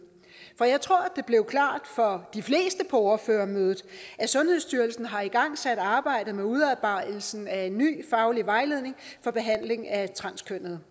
for jeg tror det blev klart for de fleste på ordførermødet at sundhedsstyrelsen har igangsat arbejdet med udarbejdelsen af en ny faglig vejledning for behandling af transkønnede